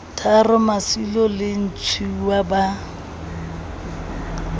tharo masilo le ntshiuwa ba